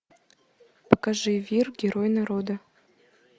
покажи вир герой народа